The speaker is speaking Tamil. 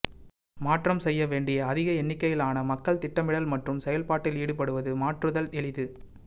மாற்றம் செய்ய வேண்டிய அதிக எண்ணிக்கையிலான மக்கள் திட்டமிடல் மற்றும் செயல்பாட்டில் ஈடுபடுவது மாற்றுதல் எளிது